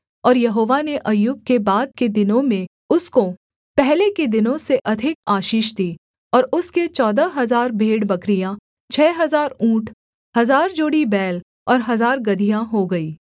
और यहोवा ने अय्यूब के बाद के दिनों में उसको पहले के दिनों से अधिक आशीष दी और उसके चौदह हजार भेड़बकरियाँ छः हजार ऊँट हजार जोड़ी बैल और हजार गदहियाँ हो गई